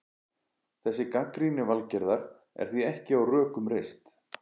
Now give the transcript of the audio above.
Þessi gagnrýni Valgerðar er því ekki á rökum reist.